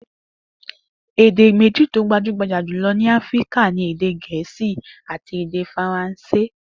Èdè méjì tí ó gbajúgbajà jùlo̩ ni Áfíríka ni èdè Gè̩é̩sì àti èdè Faransé